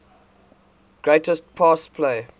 greatest pass play